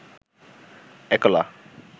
একলা